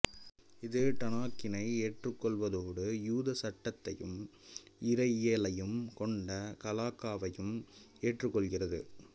இது டனாக்கினை ஏற்றுக் கொள்ளவதோடு யூத சட்டத்தையும் இறையியலையும் கொண்ட கலாக்காவையும் ஏற்றுக் கொள்கிறது